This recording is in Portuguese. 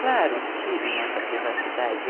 Claro, tiram nossa privacidade.